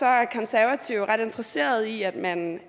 er konservative ret interesserede i at man